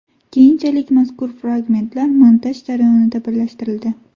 Keyinchalik mazkur fragmentlar montaj jarayonida birlashtirildi.